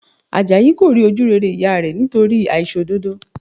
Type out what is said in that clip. Àjàyí kò rí ojú rere ìyá rẹ̀ nítorí àìṣòdodo